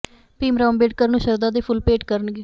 ਭੀਮ ਰਾਓ ਅੰਬੇਡਕਰ ਨੂੰ ਸ਼ਰਧਾ ਦੇ ਫੁੱਲ ਭੇਟ ਕਰਨਗੇ